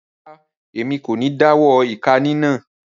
Rara, Èmí kò ní dawọ ika ninà